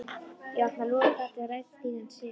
Ég opna lúgugatið og læt stigann síga.